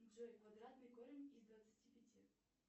джой квадратный корень из двадцати пяти